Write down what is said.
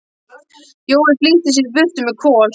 Jói flýtti sér í burtu með Kol.